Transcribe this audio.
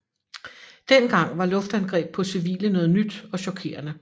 Dengang var luftangreb på civile noget nyt og chokerende